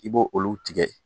I b'o olu tigɛ